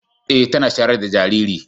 Eh tana shayar da jariri.